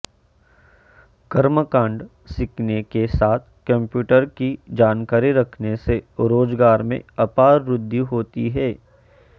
कर्मकाण्ड सीखने के साथ कम्प्यूटर की जानकारी रखने से रोजगार में अपार वृद्धि होती है